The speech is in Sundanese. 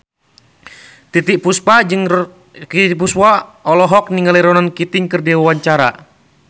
Titiek Puspa olohok ningali Ronan Keating keur diwawancara